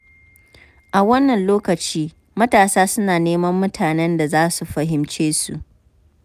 A wannan lokaci, matasa suna neman mutanen da za su fahimce su.